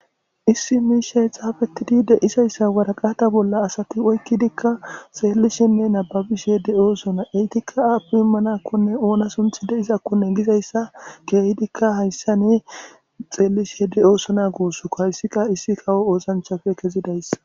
issi miishay xaafetidi deisayssa waraqata bolla asati oykkidikka xeellishenne nababishe de oosona eytikka aappi immanakkone oona sunthi de7izakkone gizayssa keehidikka hayssani xeellishe de oosona guussukko hayssika issi kawo oosanchafe kezidayss